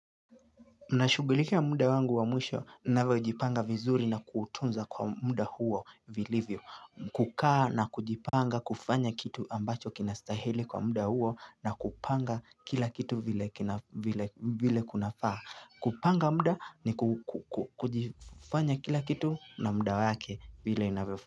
Nashugulikia muda wangu wa mwisho navyojipanga vizuri na kuutunza kwa muda huo vilivyo. Kukaa na kujipanga kufanya kitu ambacho kinastahili kwa muda huo na kupanga kila kitu vile kunafaa. Kupanga muda ni kujifanya kila kitu na muda wake vile inavyo.